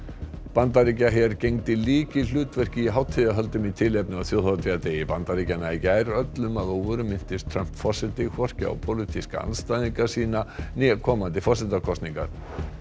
Bandaríkjaher gegndi lykilhlutverki í hátíðahöldum í tilefni af þjóðhátíðardegi Bandaríkjanna í gær öllum að óvörum minntist Trump forseti hvorki á pólitíska andstæðinga sína né komandi forsetakosningar